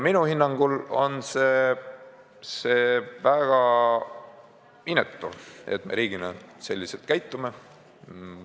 Minu hinnangul on see väga inetu, et me riigina selliselt käitume.